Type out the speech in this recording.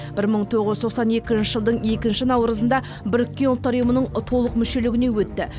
бір мың тоғыз жүз тоқсан екінші жылдың екінші наурызында біріккен ұлттар ұйымының толық мүшелігіне өтті